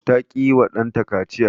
ta ki yiwa ɗanta kaciya